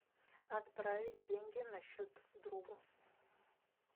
отправить деньги на счет другу